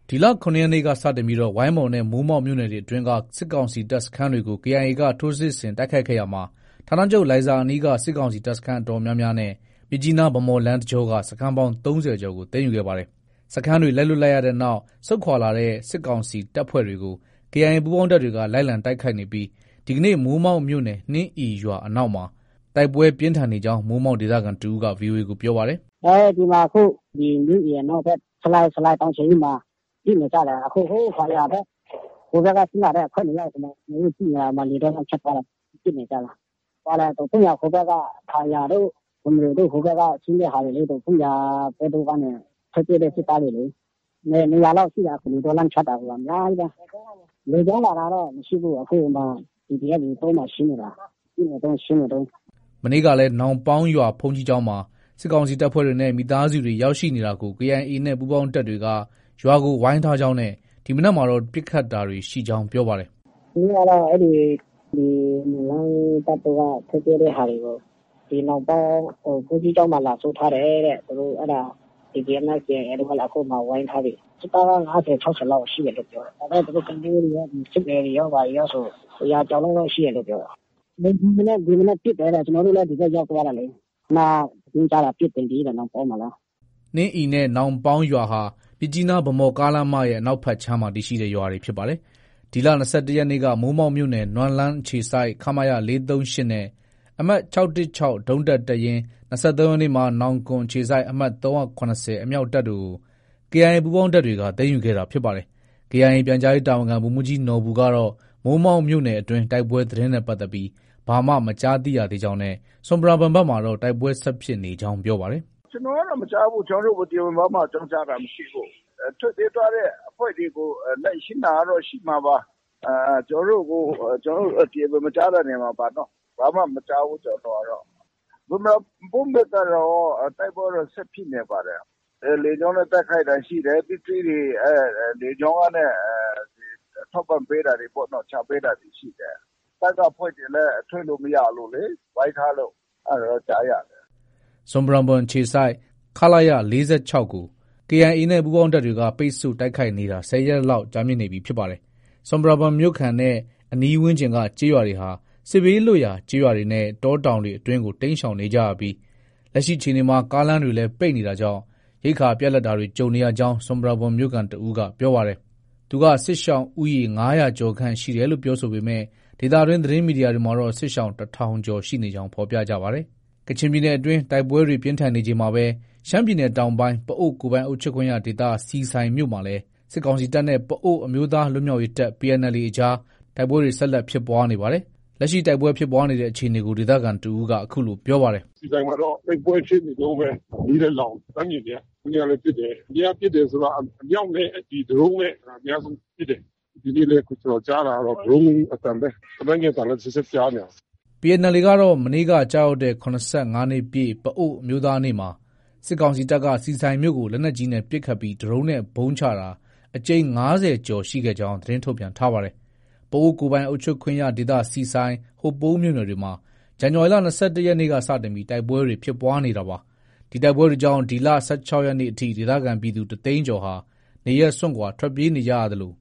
ဒီလ ၇ရက်နေ့ကစတင်ပြီး ဝိုင်းမော်နဲ့ မိုးမောက် မြို့နယ်တွေအတွင်းက စစ်ကောင်စီတပ်စခန်းတွေကို KIA က ထိုးစစ်ဆင်တိုက်ခိုက်ခဲ့ရာမှာ ဋ္ဌာနချုပ်လိုင်ဇာအနီးက စစ်ကောင်စီ တပ်စခန်းအတော်များများနဲ့ မြစ်ကြီးနား-ဗန်းမော်လမ်းတကြောက စခန်းပေါင်း ၃၀ကျော်ကို သိမ်းယူခဲ့ပါတယ်။ စခန်းတွေ လက်လွှတ်ရတဲ့နောက် ဆုတ်ခွာလာတဲ့ စစ်ကောင်စီတပ်ဖွဲ့တွေကို KIA ပူးပေါင်းတပ်တွေက လိုက်လံတိုက်ခိုက်နေပြီး ဒီကနေ့ မိုးမောက်မြို့နယ် နှင်းအီရွာအနောက်မှာ တိုက်ပွဲ ပြင်းထန်နေကြောင်း မိုးမောက်ဒေသခံတဦးက VOA ကို ပြောပါတယ်။ “ အခု ဒီမှာ နှင်းအီအနောက်ဖက် ဆလိုင်တောင်ခြေရင်းမှာ ပစ်နေကြတယ်။ အခု ဟိုး ခယာတို့ ဟိုးဘက်က ဆင်းလာတဲ့အဖွဲ့တွေ ထင်တယ်။ ကျနော်တို့ ကြည့်နေတာ လယ်ထဲက ဖြတ်သွားတာက ပစ်နေကြတယ်။ ဒေါ့ဖုန်းယန်ဟိုဘက်က ခယာတို့၊ ဘွမ်ရဲတို့ ဟိုဘက်က ဆင်းတဲ့ဟာတွေလေ။ ဒေါ့ဖုန်းယန်တို့ဘက်ကနေ ထွက်ပြေးတဲ့ စစ်သားတွေလေ။ ၂၀၀လောက် ရှိတာ လယ်တောလမ်းကနေဖြတ်တာ အများကြီးပဲ။ လေကြောင်းလာတာတော့ မရှိဘူး။ အခု PDF တွေ လယ်တောမှာ ရှင်းနေတာ။ ပစ်နေတုံး၊ ရှင်းနေတုံး။” မနေ့ကလည်း နောင်ပေါင်းရွာဘုန်းကြီးကျောင်းမှာ စစ်ကောင်စီတပ်ဖွဲ့တွေနဲ့ မိသားစုတွေ ရောက်ရှိနေတာကို KIA နဲ့ ပူးပေါင်းတပ်တွေက ရွာကို ဝိုင်း ထားကြောင်း နဲ့ ဒီမနက်မှာတော့ ပစ်ခတ်တာတွေရှိကြောင်း ပြောပါတယ်။ “ မနေ့ကလည်း ဒီ နွမ်းလန်းတပ်ထဲက ထွက်ပြေးတဲ့ဟာတွေကို ဒီနောင်ပေါင်း ဘုန်းကြီးကျောင်းမှာ လာစုထားတယ်တဲ့။ သူတို့ အဲဒါ PDF နဲ့ KIA တို့က အခုမှာ ဝိုင်းထားပြီ။ စစ်သားက ၅၀- ၆၀ လောက် ရှိတယ်လို့ ပြောတယ်။ ဒါပေမဲ့ သူတို့ ကလေးတွေရော၊ စစ်မေတွေရောဆို ၁၀၀ ကျော်လောက် တော့ ရှိတယ်လို့ ပြောတယ်။ ဒီမနက် ပစ်တယ်တဲ့။ ကျနော်တို့လည်း ဒီဘက်ရောက်သွား တာလေ။ ခုနက သတင်းကြားတာ ပစ်နေပြီတဲ့ နောင်ပေါင်းမှာလည်း။” နှင်းအီနဲ့ နောင်ပေါင်းရွာဟာ မြစ်ကြီးနား - ဗန်းမော်ကားလမ်းမရဲ့ အနောက်ဘက်ခြမ်းမှာ တည်ရှိတဲ့ ရွာတွေ ဖြစ်ပါတယ်။ ဒီလ ၂၁ရက်နေ့က မိုးမောက်မြို့နယ် နွမ်းလန်းအခြေစိုက် ခမရ ၄၃၈နဲ့ အမှတ် ၆၁၆ ဒုံးတပ်တပ်ရင်း၊ ၂၃ရက်နေ့ မှာ နောင်ကွန်အခြေစိုက် အမှတ် ၃၇၀ အမြောက်တပ်တို့ကို KIA ပူးပေါင်းတပ်တွေက သိမ်းယူခဲ့ တာဖြစ် ပါတယ်။ KIA ပြန်ကြားရေးတာဝန်ခံ ဗိုလ်မှုးကြီးနော်ဘူကတော့ မိုးမောက်မြို့နယ်အတွင်းတိုက်ပွဲသတင်းနဲ့ပတ်သက်ပြီး ဘာမှ မကြားသိရသေးကြောင်းနဲ့ ဆွမ်ပရာဘွမ်ဘက်မှာတော့ တိုက်ပွဲဆက်ဖြစ်နေကြောင်း ပြောပါတယ်။ “ ကျနော်ကတော့မကြားဘူး။ ကျနော်တို့ကို တရားဝင်အကြောင်းကြားတာမရှိဘူး။ ထွက်ပြေးသွားတဲ့အဖွဲ့တွေ ကို လိုက်ရှင်းတာတော့ ရှိမှာပါ။ ကျနော်တို့ကို တရားဝင် မကြားတာနေမှာပါ။ ဘာမှ မကြားဘူး ကျနော်တို့ကတော့။ ဆွမ်ပရာဘွမ်ဘက်ကတော့ တိုက်ပွဲက ဆက်ဖြစ်နေပါတယ်။ လေကြောင်းနဲ့ တိုက်ခိုက်တာ ရှိတယ်။ ပစ္စည်းတွေ လေကြောင်းကနဲ့ ထောက်ပံ့ပေးတာတွေပေါ့နော်။ ချပေးတာတွေရှိတယ်။ တပ်က အဖွဲ့တွေလည်း ထွက်လို့ မရလို့လေ ဝိုင်းထားလို့။ ” ဆွမ်ပရာဘွမ်မြို့ အခြေစိုက် ခလရ ၄၆ကို KIA နဲ့ ပူးပေါင်းတပ်တွေက ပိတ်ဆို့တိုက်ခိုက်နေတာ ၁၀ရက်လောက်ကြာမြင့်နေပြီဖြစ်ပါတယ်။ ဆွမ်ပရာဘွမ်မြို့ခံနဲ့ အနီးဝန်းကျင်က ကျေးရွာတွေဟာ စစ်ဘေးလွတ်ရာ ကျေးရွာတွေနဲ့ တောတောင်တွေအတွင်းကို တိမ်းရှောင်နေကြရပြီး လက်ရှိအခြေအနေမှာ ကားလမ်းတွေလည်း ပိတ်နေတာကြောင့် ရိက္ခာပြတ်လပ်တာတွေ ကြုံနေရကြောင်း ဆွမ်ပရာဘွမ်မြို့ခံတဦးက ပြောပါတယ်။ သူက စစ်ရှောင်ဦးရေ ၅၀၀ကျော်ခန့်တယ်လို့ ပြောဆိုပေမဲ့ ဒေသတွင်း သတင်းမီဒီယာတွေမှာတော့ စစ်ရှောင် ၁၀၀၀ကျော်ရှိနေကြောင်း ဖော်ပြကြပါတယ်။ ကချင်ပြည်နယ်အတွင်း တိုက်ပွဲတွေ ပြင်းထန်နေချိန်မှာပဲ ရှမ်းပြည်နယ်တောင်ပိုင်း ပအိုဝ်းကိုယ်ပိုင်အုပ်ချုပ်ခွင့်ရ ဒေသ ဆီဆိုင်မြို့မှာလည်း စစ်ကောင်စီတပ်နဲ့ ပအိုဝ်းအမျိုးသားလွတ်မြောက်ရေးတပ် PNLA အကြား တိုက်ပွဲတွေက ဆက်လက်ဖြစ်ပွားနေပါတယ်။ လက်ရှိ တိုက်ပွဲဖြစ်ပွားနေတဲ့အခြေအနေကို ဒေသခံတဦးက အခုလို ပြောပါတယ်။ “ ဆီဆိုင်မှာတော့ တိုက်ပွဲဖြစ်နေတုံးပဲ။မီးလည်းလောင်နေတာ။ လှမ်းမြင်နေရတာ။ မနေ့ကလည်း ပစ်တယ်။ အမြဲတမ်းပစ်တယ်ဆိုတာ အမြောက်နဲ့ ဒရုန်းနဲ့ အများဆုံးပစ်တယ်။ ဒီနေ့လည်း ကျနော် ကြားတာကတော့ ဒရုန်း အသံပဲ။လက်နက်ငယ်အသံလည်း တချက်တချက် ကြားနေတာ။ ” PNLA ကတော့ မနေ့က ကျရောက်တဲ့ ၇၅နှစ်ပြည့် ပအိုဝ်းအမျိုးသားနေ့မှာ စစ်ကောင်စီတပ်က ဆီဆိုင်မြို့ကို လက်နက်ကြီးနဲ့ပစ်ခတ်ပြီး ဒရုန်းနဲ့ ဗုံးချတာ အကြိမ် ၅၀ကျော်ကြောင်း သတင်းထုတ်ပြန်ထားပါတယ်။ ပအိုဝ်းကိုယ်ပိုင်အုပ်ချုပ်ခွင့်ရဒေသ ဆီဆိုင်၊ ဟိုပုံးမြို့နယ်တွေမှာ ဇန်နဝါရီလ ၂၁ရက်နေ့က စတင်ပြီး တိုက်ပွဲတွေ ဖြစ်ပွားခဲ့တာပါ။ ဒီတိုက်ပွဲတွေကြောင့် ဒီလ ၁၆ရက်နေ့အထိ ဒေသခံပြည်သူ တသိန်းကျော်ဟာ နေရပ်စွန့်ခွာထွက်ပြေးနေရသလို